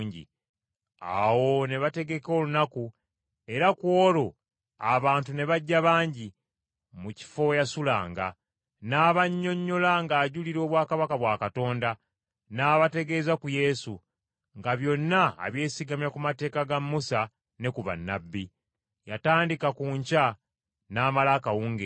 Awo ne bategeka olunaku, era ku olwo abantu ne bajja bangi, mu kifo we yasulanga. N’abannyonnyola ng’ajulira obwakabaka bwa Katonda, n’abategeeza ku Yesu, nga byonna abyesigamya ku mateeka ga Musa ne ku bannabbi. Yatandika ku nkya n’amala akawungeezi.